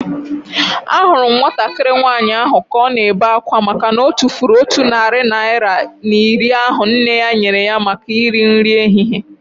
Ahụrụ m nwatakịrị nwaanyị ahu ka ọ na-ebe akwa makana otufuru otu narị naira na iri ahu nne ya nyere ya maka nri ehihie